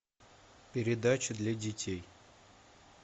передача для детей